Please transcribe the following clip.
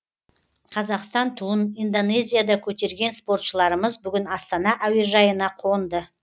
қазақстан туын индонезияда көтерген спортшыларымыз бүгін астана әуежайына қонды